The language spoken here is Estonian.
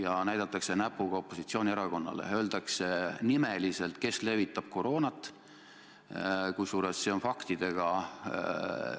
ja näidatakse näpuga opositsioonierakonnale, öeldakse nimeliselt, kes levitab koroonat, kusjuures see on faktidega ümber lükatud.